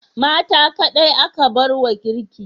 Mata kaɗai aka bar wa girki?